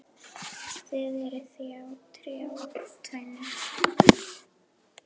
Þið eruð enn þá í trjáræktinni?